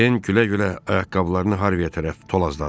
Din külə-külə ayaqqabılarını Harvaya tərəf tulladı.